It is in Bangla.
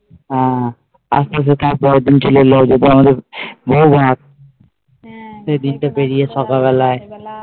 হ্যাঁ পরের দিন চলে এলো পরের দিন হ্যাঁ সেই দিন তা পেরিয়ে সকাল বেলায়